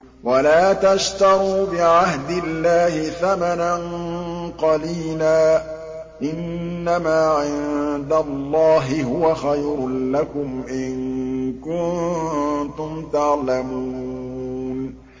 وَلَا تَشْتَرُوا بِعَهْدِ اللَّهِ ثَمَنًا قَلِيلًا ۚ إِنَّمَا عِندَ اللَّهِ هُوَ خَيْرٌ لَّكُمْ إِن كُنتُمْ تَعْلَمُونَ